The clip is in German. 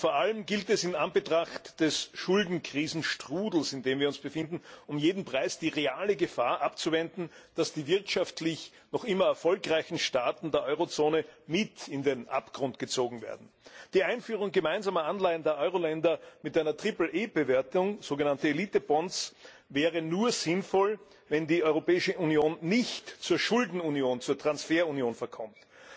Vor allem gilt es in Anbetracht des Schuldenkrisenstrudels, in dem wir uns befinden, um jeden Preis die reale Gefahr abzuwenden, dass die wirtschaftlich noch immer erfolgreichen Staaten der Eurozone mit in den Abgrund gezogen werden. Die Einführung gemeinsamer Anleihen der Euroländer mit einer Triple A Bewertung, so genannte Elitebonds, wäre nur sinnvoll, wenn die Europäische Union nicht zur Schuldenunion, zur Transferunion verkommt.